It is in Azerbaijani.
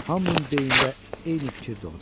Hamının beynində eyni fikir doğdu.